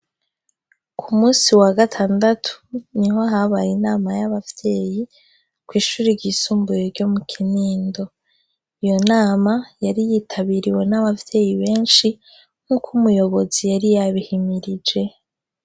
Ku musi wa gatandatu ni ho habaye inama y'abavyeyi ko'ishura igisumbuye ryo mu kinindo iyo nama yari yitabiriwe n'abavyeyi benshi nk'uko umuyobozi yari yabihimirije.